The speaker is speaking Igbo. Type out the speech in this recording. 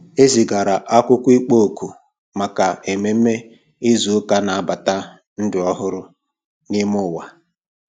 E zigara akwụkwọ ịkpọ òkù maka ememe izu ụka na-anabata ndụ ọhụrụ n'ime ụwa.